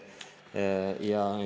Aeg!